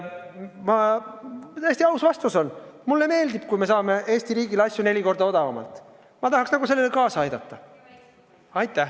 Mu täiesti aus vastus on: mulle meeldib, kui me saame Eesti riigile asju neli korda odavamalt, ma tahaks sellele kaasa aidata.